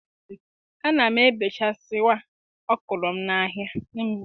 A na m ebechasịwa ọkụrọ m na-ahịa.